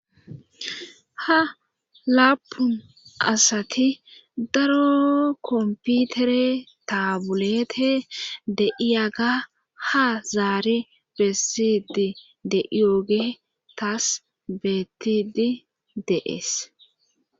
ha laapun asati daro komputere taabulete de iyaga ha zaari bessidi de iyooge taas beettidi deees